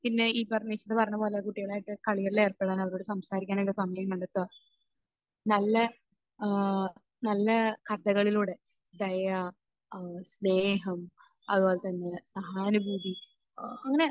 പിന്നെ ഈ പറഞ്ഞ നിഷിദ പറഞ്ഞത് പോലെ കുട്ടികളായിട്ട് കളികളിൽ ഏർപ്പെടണം, അവരോട് സംസാരിക്കാനുള്ള സമയം കണ്ടെത്തുക, നല്ല ഏഹ് നല്ല കഥകളിലൂടെ ദയ അഹ് സ്നേഹം അതുപോലെ തന്നെ സഹാനുഭൂതി അഹ് അങ്ങനെ